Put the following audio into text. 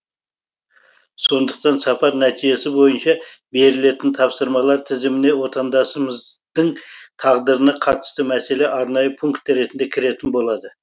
сондықтан сапар нәтижесі бойынша берілетін тапсырмалар тізіміне отандасымыздың тағдырына қатысты мәселе арнайы пункт ретінде кіретін болады